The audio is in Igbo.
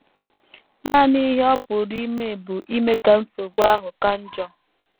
Nanị ihe ọ pụrụ ime bụ ime ka nsogbu ahụ ka njọ.